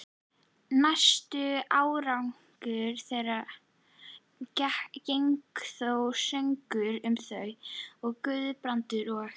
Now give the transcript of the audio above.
Næstu áratugi gengu þó sögur um það, að Guðbrandur og